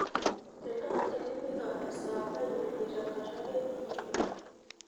tenaa itpika esaa painyoyie tenkata ake niyeu